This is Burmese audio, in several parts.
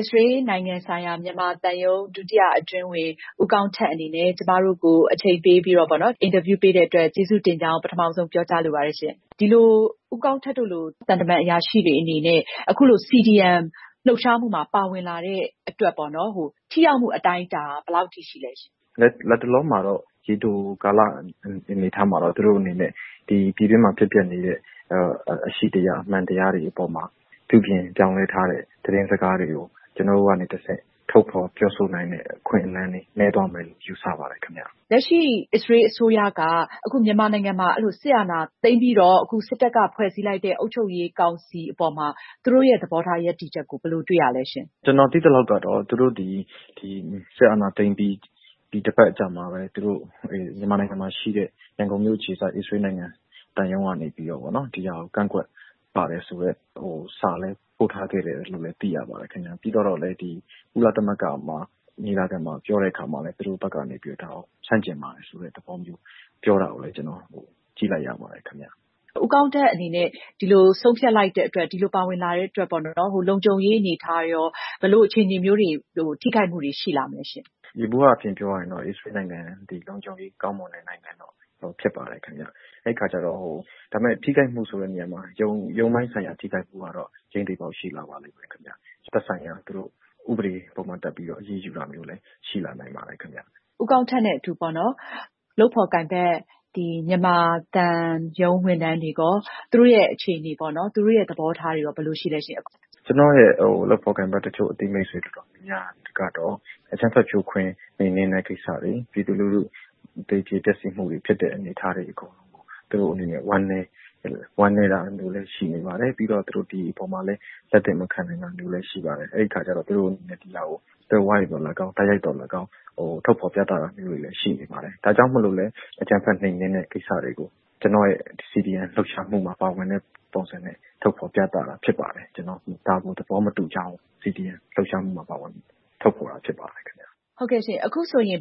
စ္စရေးနိုင်ငံဆိုင်ရာ မြန်မာသံရုံး ဒုတိယအတွင်းဝန် ဦးကောင်းထက်အနေနဲ့ အချိန်ပေးပြီး ကျမတို့ကို အင်တာဗျူးပေးတဲ့အတွက် ကျေးဇူးတင်ကြောင်း ပထမဆုံး ပြောကြားလိုပါတယ်ရှင့်။ ဦးကောင်းထက်တို့လို သံတမန်အရာရှိတွေအနေနဲ့ အခုလို CDM လှုပ်ရှားမှုမှာ ပါဝင်လာတဲ့အတွက် ထိရောက်မှုအတိုင်းအတာ ဘယ်လောက်ထိရှိလဲရှင့်။ ဖြေ။ ။ လတ်တလော ရေတိုကာလမှာတော့ သူတို့အနေနဲ့ ပြည်တွင်းမှာဖြစ်ပျက်နေတဲ့ အရှိတရား၊ အမှန်တရားတွေအပေါ်မှာ ပြုပြင်ပြောင်းလဲထားတဲ့သတင်းစကားတွေကို ကျနော်တို့ကနေတဆင့် ထုတ်ဖော်ပြောဆိုနိုင်တဲ့အခွင့်အလမ်းတွေ နည်းသွားမယ်လို့ ယူဆပါတယ်ခင်ဗျ။ မေး။ ။ လက်ရှိ အစ္စရေးအစိုးရက အခု မြန်မာနိုင်ငံမှာ စစ်အာဏာသိမ်းပြီးတော့ စစ်တပ်က ဖွဲ့စည်းလိုက်တဲ့ အုပ်ချုပ်ရေးကောင်စီအပေါ်မှာ သူတို့ရဲ့ သဘောထားရပ်တည်ချက်ကို ဘယ်လို တွေ့ရလဲရှင့်။ ဖြေ။ ။ ကျနော်သိသလောက်တော့ စစ်အာဏာသိမ်းပြီး တပတ်အကြာမှာပဲ မြန်မာနိုင်ငံမှာရှိတဲ့ ရန်ကုန်မြို့အခြေစိုက် အစ္စရေးနိုင်ငံသံရုံးကနေပြီး ဒီဟာကို ကန့်ကွက်ပါတယ်ဆိုတဲ့ စာလည်း ပို့ထားခဲ့တယ်လို့လည်း သိရပါတယ်ခင်ဗျ။ ပြီးတော့လည်း ကုလသမဂ္ဂညီလာခံမှာ ပြောတဲ့အခါမှာလည်း သူတို့ဘက်က ဒါကို ဆန့်ကျင်ပါတယ်ဆိုတဲ့သဘောမျိုး ပြောတာကိုလည်း ကျနော် ကြည့်လိုက်ရပါတယ်ခင်ဗျ။ မေး။ ။ ဦးကောင်းထက်အနေနဲ့ ဒီလိုဆုံးဖြတ်လိုက်တဲ့အတွက်၊ ဒီလိုပါဝင်လာတဲ့အတွက် လုံခြုံရေးအနေအထားရော ဘယ်လို ထိခိုက်မှုတွေ ရှိလာမလဲရှင့်။ ဖြေ။ ။ ယေဘုယျအားဖြင့်ပြောရမယ်ဆိုရင် အစ္စရေးနိုင်ငံဟာ လုံခြုံရေးကောင်းမွန်တဲ့နိုင်ငံဖြစ်ပါတယ်ခင်ဗျ။ ဒါပေမယ့် ထိခိုက်မှုဆိုတဲ့နေရာမှာ ရုံးပိုင်းဆိုင်ရာထိခိုက်မှုကတော့ ကျိန်းသေရှိလာပါလိမ့်မယ်ခင်ဗျ။ သက်ဆိုင်ရာ ဥပဒေ၊ ပုဒ်မတပ်ပြီးတော့ အရေးယူတာမျိုးလည်း ရှိလာနိုင်ပါတယ်။ မေး။ ။ ဦးကောင်းထက်နဲ့အတူ လုပ်ဖော်ကိုင်ဘက် မြန်မာသံရုံးဝန်ထမ်းတွေကော-သူတို့ရဲ့အခြေအနေပေါ့နော်၊ သူတို့ရဲ့သဘောထားတွေရော ဘယ်လိုရှိလဲရှင့်။ ဖြေ။ ။ ကျနော့်ရဲ့လုပ်ဖော်ကိုင်ဘက်တချို့၊အသိမိတ်ဆွေ အတော်များများကတော့ အကြမ်းဖက်ဖြိုခွင်းနှိမ်နင်းတဲ့ကိစ္စတွေ၊ ပြည်သူလူထု သေကြေပျက်စီးနေကြရတာတွေအပေါ် သူတို့အနေနဲ့ ဝမ်းနည်းတာလည်းရှိပါတယ်။ ဒီအပေါ်မှာ လက်သင့်မခံနိုင်တာမျိုးလည်းရှိနေပါတယ်။ အဲဒီအခါကျတော့ သူတို့အနေနဲ့တိုက်ရိုက်သော်လည်းကောင်း၊ သွယ်ဝိုက်သော်လည်းကောင်း ထုတ်ဖော်ပြသတာမျိးတွေလည်း ရှိနေပါတယ်။ ဒါကြောင့်မို့လို့လည်း အကြမ်းဖက်နှိမ်နင်းတဲ့ကိစ္စတွေကို ကျနော့်ရဲ့ CDM လှုပ်ရှားမှုမှာ ပါဝင်တဲ့ပုံစံနဲ့ ထုတ်ဖော်ပြသတာဖြစ်ပါတယ်။ ဒါကိုသဘောမတူကြောင်း CDM လှုပ်ရှားမှုမှာ ပါဝင်ထုတ်ဖော်ပြတာဖြစ်ပါတယ်။ မေး။ ။ ဟုတ်ကဲ့၊ အခုဆိုရင်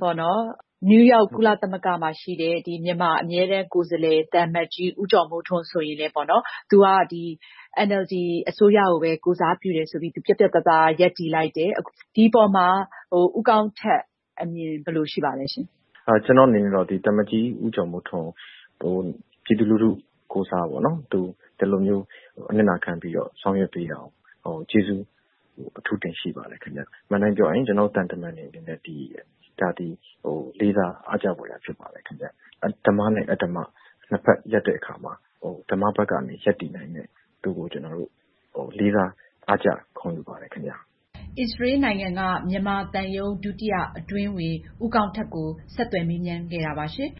နယူးယောက်၊ ကုလသမဂ္ဂမှာရှိတဲ့ မြန်မာအမြဲတမ်းကိုယ်စားလှယ် သံအမတ်ကြီး ဦးကျော်မိုးထွန်းဆိုရင်လည်း သူက NLD အစိုးရကိုပဲ ကိုယ်စားပြုတယ်ဆိုပြီး ရပ်တည်လိုက်တယ်။ ဒီအပေါ်မှာ ဦးကောင်းထက်အမြင် ဘယ်လို ရှိပါသလဲရှင့်။ ဖြေ။ ။ ကျနော့်အနေနဲ့ကတော့ သံအမတ်ကြီးဦးကျော်မိုးထွန်းကို သူဒီလိုမျိုး အနစ်နာခံဆောင်ရွက်ပေးတာကနို ပြည်သူလူထုကိုယ်စား ကျေးဇူးအထူးတင်ရှိပါတယ်ခင်ဗျ။ အမှန်အတိုင်းပြောရရင် ကျနော်တို့သံတမန်တွေအနေနဲ့ ဒါသည် လေးစားအားကျဖွယ်ရာဖြစ်ပါတယ်ခင်ဗျ။ ဓမ္မနဲ့အဓမ္မ နှစ်ဘက်ရပ်တဲ့အခါမှာ ဓမ္မဘက်က ရပ်တည်နိုင်တဲ့သူ့ကို ကျနော်တို့ လေးစားအားကျ ဂုဏ်ယူပါတယ်။ အင်ကြင်းနိုင်။ ။ အစ္စရေးနိုင်ငံက မြန်မာသံရုံး ဒုတိယအတွင်းဝန် ဦးကောင်းထက်ကို ဆက်သွယ်မေးမြန်းခဲ့တာပါရှင်